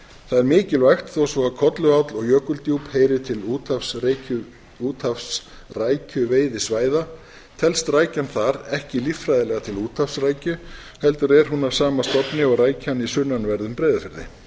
það er mikilvægt þó svo að kolluál og jökuldjúp heyri til úthafsrækjuveiðisvæða telst rækjan þar ekki líffræðilega til úthafsrækju heldur er hún af sama stofni og rækjan í sunnanverðum breiðafirði